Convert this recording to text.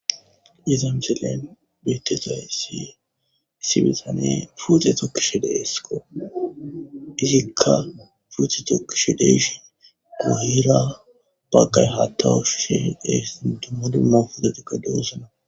Iza missilen betizaysi issi bitaney pute tokishe de'esko izika pute tokishen de'ishin guyera bagay hata ushishe de'es duma duma putetika de'osona.